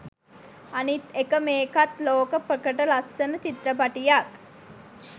අනිත් එක මේකත් ලෝක ප්‍රකට ලස්සන චිත්‍රපටියක්.